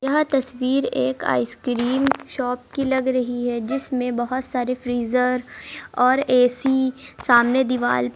यह तस्वीर एक आइसक्रीम शॉप की लग रही है जिसमें बहुत सारे फ्रीजर और ए_सी सामने दीवाल --